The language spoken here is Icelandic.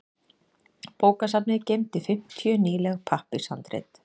Bókasafnið geymdi fimmtíu nýleg pappírshandrit.